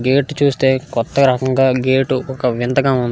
gate చూస్తే కొత్త రకంగా గేట్ ఒక వింతగా ఉంది --